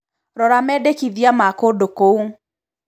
rora mendekithia ma kũndũ kũu